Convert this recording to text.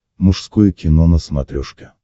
мужское кино на смотрешке